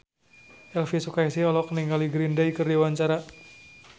Elvi Sukaesih olohok ningali Green Day keur diwawancara